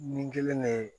Nin kelen de ye